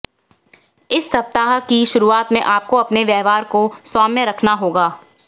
इस सप्ताह की शुरुआत में आपको अपने व्यवहार को सौम्य रखना होगा